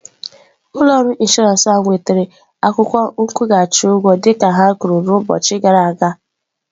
Ụlọ ọrụ inshọransị ahụ wetara akwụkwọ nkwụghachi ụgwọ dịka ha kwuru ụbọchị abụọ gara aga?